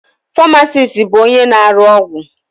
Famasis bụ onye na-arụ ọgwụ.